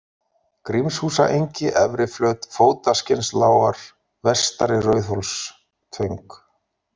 Grímshúsaengi, Efriflöt, Fótaskinnslágar, Vestari Rauðhólstöng